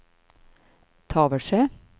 Tavelsjö